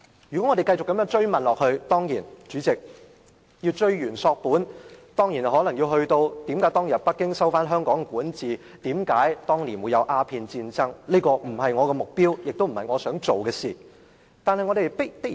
如果我們要追源溯本問下去，代理主席，我們可能要問為何當年北京收回香港的管治權，為何當年發生鴉片戰爭，但這不是我的目的，也不是我想做的事情。